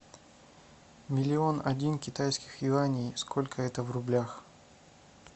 миллион один китайских юаней сколько это в рублях